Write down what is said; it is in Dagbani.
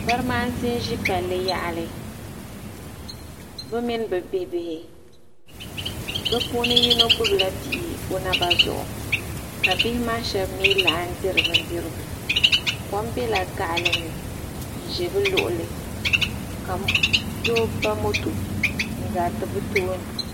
Barimaasi n ʒi paali yaɣali bɛ mini bɛ bibihi bɛ puuni yino gbibila bihi bɛ naba zuɣu ka bihi maa sheba laɣim diri bindirigu kom bela gaɣali ni n ʒɛ bɛ luɣuli ka doo ba moto n garita bɛ tooni.